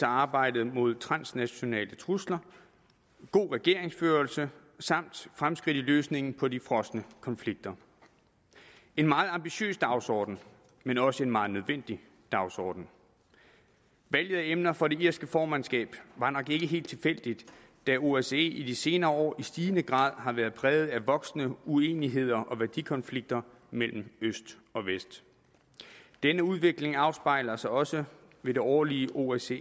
arbejdet mod transnationale trusler god regeringsførelse samt fremskridt i løsningen på de frosne konflikter en meget ambitiøs dagsorden men også en meget nødvendig dagsorden valget af emner for det irske formandskab var nok ikke helt tilfældigt da osce i de senere år i stigende grad har været præget af voksende uenigheder og værdikonflikter mellem øst og vest denne udvikling afspejlede sig også ved det årlige osce